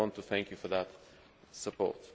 I want to thank you for that support.